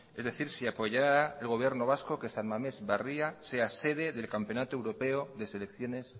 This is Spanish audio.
es decir si apoyará el gobierno vasco que san mamés barria sea sede del campeonato europeo de selecciones